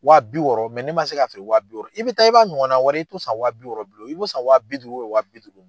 Wa bi wɔɔrɔ ne man se k'a feere wa bi wɔɔrɔ i bɛ taa i b'a ɲɔgɔn na wɛrɛ ye i t'o san wa bi wɔɔrɔ bilen o i b'o san wa bi duuru wa bi duuru.